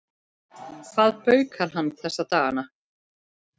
Hvað baukar hann þessa dagana?